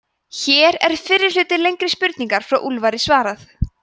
hér er fyrri hluta lengri spurningar frá úlfari svarað